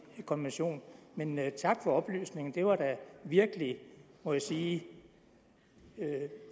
konvention men men tak for oplysningen det var da virkelig må jeg sige